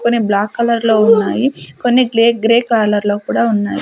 కొన్ని బ్లాక్ కలర్లో ఉన్నాయి కొన్ని గ్లే గ్రే కలర్లో కూడా ఉన్నాయి.